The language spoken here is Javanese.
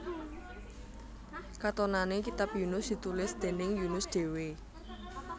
Katonané kitab Yunus ditulis déning Yunus dhéwé